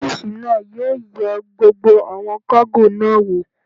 Ọ́físà náà yóò yẹ gbogbo àwọn kágò náà wò